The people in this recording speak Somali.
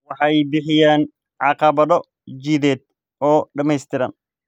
Waxay bixiyaan caqabado jidheed oo dhamaystiran.